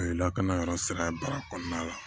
O ye lakana yɔrɔ sira ye baara kɔnɔna la